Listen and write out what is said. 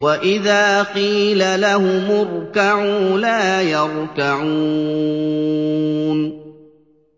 وَإِذَا قِيلَ لَهُمُ ارْكَعُوا لَا يَرْكَعُونَ